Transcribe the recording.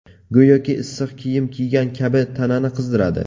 Go‘yoki issiq kiyim kiygan kabi tanani qizdiradi.